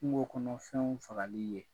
Kungo kɔnɔfɛnw fagali ye.